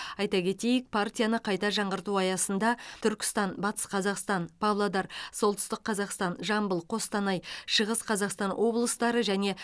айта кетейік партияны қайта жаңғырту аясында түркістан батыс қазақстан павлодар солтүстік қазақстан жамбыл қостанай шығыс қазақстан облыстары және